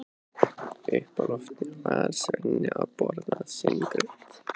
Uppi á lofti var Svenni að borða sinn graut.